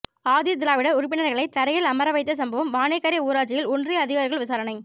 ஆதிதிராவிடர் உறுப்பினர்களை தரையில் அமர வைத்த சம்பவம் வாணிக்கரை ஊராட்சியில் ஒன்றிய அதிகாரிகள் விசாரணை